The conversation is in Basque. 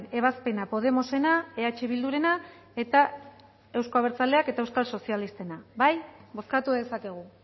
ebazpena podemosena eh bildurena eta euzko abertzaleak eta euskal sozialistena bai bozkatu dezakegu